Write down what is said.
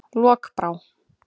Lokbrá